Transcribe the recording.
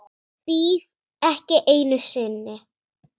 Bíð ekki einu sinni.